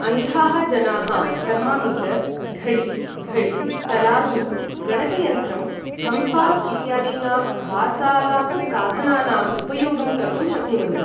अन्धाः जनाः थर्मामीटर्, घड़ी, घड़ी, तराजू, गणकयंत्रं, कम्पास इत्यादीनां वार्तालापसाधनानाम् उपयोगं कर्तुं शक्नुवन्ति ।